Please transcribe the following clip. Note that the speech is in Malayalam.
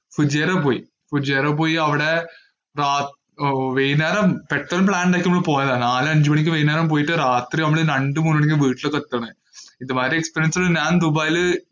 കുജേല് പോയി. കുജേല് പോയി അവിടെ വൈകുന്നേരം പെട്ടന്നു plan എടുത്ത് നമ്മള് പോയതാണ്. നാലഞ്ച് മണിക്ക് വൈകുന്നേരം പോയിട്ട് രാത്രി നമ്മള് രണ്ടു മൂന്നു മണിക്കാണ് വീട്ടിലേക്കെത്തണേ. ഇത് മാതിരി experience ഞാന്‍ ദുബായില്